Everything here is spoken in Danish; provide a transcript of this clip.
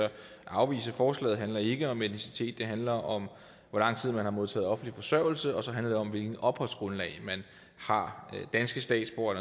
afvise forslaget handler ikke om etnicitet det handler om hvor lang tid man har modtaget offentlig forsørgelse og så handler det om hvilket opholdsgrundlag man har danske statsborgere